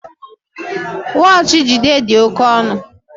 Wọọchi Jide dị oke ọnụ